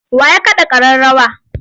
Wa ya kaɗa ƙararrawa?